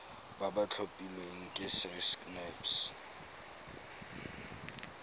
ba ba tlhophilweng ke sacnasp